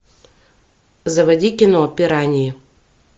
заводи кино пираньи